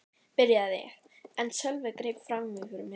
byrjaði ég en Sölvi greip fram í fyrir mér.